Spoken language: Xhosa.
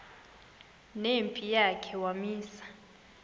nempi yakhe wamisa